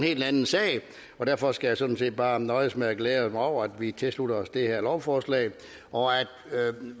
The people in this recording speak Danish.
helt anden sag og derfor skal jeg sådan set bare nøjes med at glæde mig over at vi tilslutter os det her lovforslag og at